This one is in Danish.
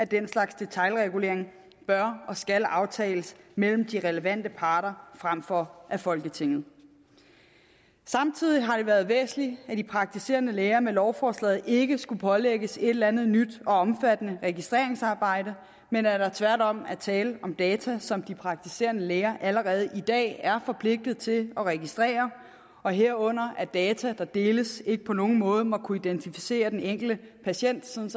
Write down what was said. den slags detailregulering bør og skal aftales mellem de relevante parter frem for af folketinget samtidig har det været væsentligt at de praktiserende læger med lovforslaget ikke skulle pålægges et eller andet nyt og omfattende registreringsarbejde men at der tværtom er tale om data som de praktiserende læger allerede i dag er forpligtet til at registrere og herunder at data der deles ikke på nogen måde må kunne identificere den enkelte patient sådan